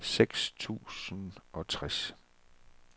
seks tusind og tres